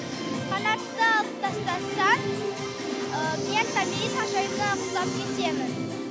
қанатты алып тастасаң мен томирис ханшайымына ұқсап кетемін